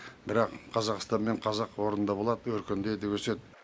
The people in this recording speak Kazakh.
бірақ қазақстан мен қазақ орнында болады өркендейді өседі